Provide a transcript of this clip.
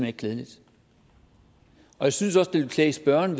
ikke klædeligt jeg synes også det ville klæde spørgeren